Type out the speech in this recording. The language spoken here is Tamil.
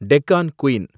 டெக்கான் குயின்